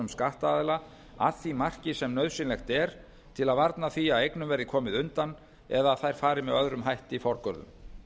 skattaðila að því marki sem nauðsynlegt er til að varna því að eignum verði komið undan eða þær fari með öðrum hætti forgörðum